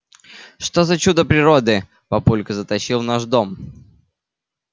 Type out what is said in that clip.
что за чудо природы папулька затащил в наш дом